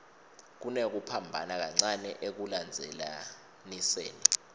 kunekuphambana kancane ekulandzelaniseni